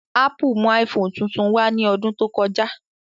Ápù mú iPhone tuntun wá ní ọdún tó kọjá